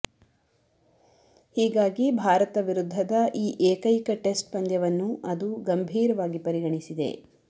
ಹೀಗಾಗಿ ಭಾರತ ವಿರುದ್ಧದ ಈ ಏಕೈಕ ಟೆಸ್ಟ್ ಪಂದ್ಯವನ್ನು ಅದು ಗಂಭೀರವಾಗಿ ಪರಿಗಣಿಸಿದೆ